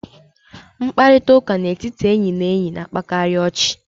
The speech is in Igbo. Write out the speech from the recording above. Mkparịta ụka n'etiti enyị na enyi na-akpakarị ọchị.